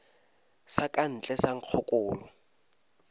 sa ka ntle sa nkgokolo